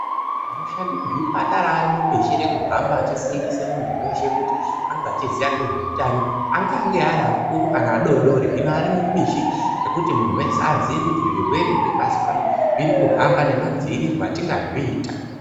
Anoshanda muzvipatara ari mubishi rekuhamba achifundisha muntu weshe kuti ange achiziya ngezveutano .Angange ari akuru kana adodori ,hino arimubishi rekuti muntu aziye kuti zvirwere zvepasi pano zviri kuhamba nemadziiriro atingazviita.